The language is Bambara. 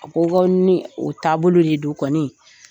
Ko ko ni o taa bolo de don kɔnɔ